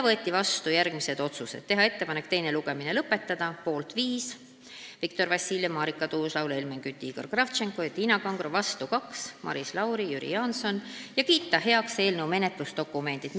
Võeti vastu järgmised otsused: teha ettepanek teine lugemine lõpetada – poolt viis: Viktor Vassiljev, Marika Tuus-Laul, Helmen Kütt, Igor Kravtšenko ja Tiina Kangro, vastu kaks: Maris Lauri, Jüri Jaanson – ja kiita heaks eelnõu menetlusdokumendid.